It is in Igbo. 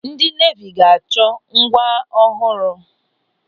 Ndị neevi ga-achọ. ngwa ọhụrụ.